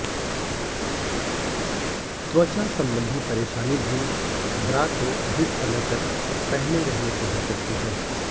त्वचा सबंधी परेशानी भी ब्रा को अधिक समय तक पहने रहने से हो सकती है